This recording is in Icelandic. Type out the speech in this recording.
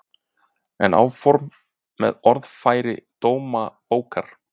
En áfram með orðfæri Dómabókar